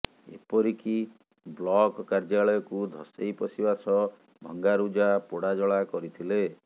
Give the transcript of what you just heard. ଏପରିକି ବ୍ଲକ କାର୍ଯ୍ୟାଳୟକୁ ଧସେଇ ପଶିବା ସହ ଭଙ୍ଗାରୁଜା ପୋଡାଜଳା କରିଥିଲେ